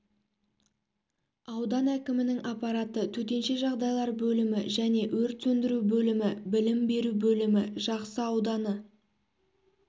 аудан әкімінің аппараты төтенше жағдайлар бөлімі және өрт сөндіру бөлімі білім беру бөлімі жақсы ауданы